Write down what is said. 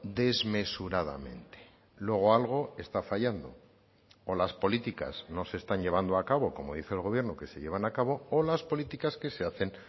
desmesuradamente luego algo está fallando o las políticas no se están llevando a cabo como dice el gobierno que se llevan a cabo o las políticas que se hacen